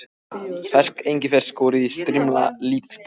Ferskt engifer, skorið í strimla, lítill bútur